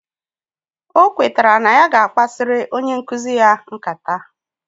Okweta na ya ga akpasiri onye nkuzi ya nkata,